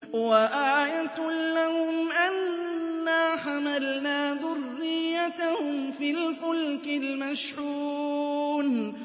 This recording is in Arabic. وَآيَةٌ لَّهُمْ أَنَّا حَمَلْنَا ذُرِّيَّتَهُمْ فِي الْفُلْكِ الْمَشْحُونِ